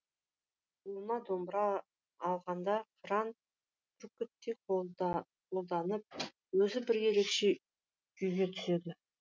қолына домбыра алғанда қыран бүркіттей қомданып өзі бір ерекше күйіне түседі